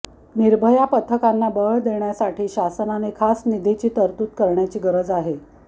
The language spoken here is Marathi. निर्भया पथकांना बळ देण्यासाठी शासनाने खास निधीची तरतूद करण्याची गरज आहे